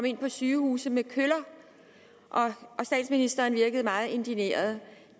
ind på sygehuse med køller statsministeren virkede meget indigneret